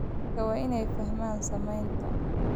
Dadka waa inay fahmaan saameynta